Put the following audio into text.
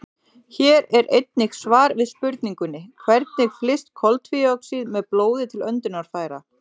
Hér er einnig svar við spurningunni: Hvernig flyst koltvíoxíð með blóði til öndunarfæra?